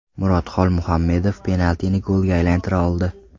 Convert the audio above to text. Murod Xolmuhammedov penaltini golga aylantira oldi.